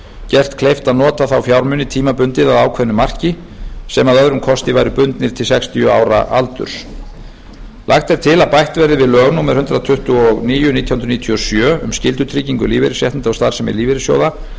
gert kleift að nota þá fjármuni tímabundið að ákveðnu marki sem að öðrum kosti væru bundnir til sextíu ára aldurs lagt er til að bætt verði við lög númer hundrað tuttugu og níu nítján hundruð níutíu og sjö um skyldutryggingu lífeyrisréttinda og starfsemi lífeyrissjóða